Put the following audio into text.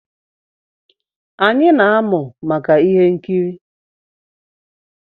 Anyị na-emu maka ihe nkiri